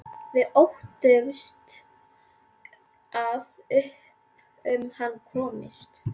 Við óttumst að upp um hann komist.